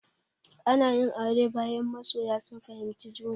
Ana yin aure, bayan masoya sun fahimci juna.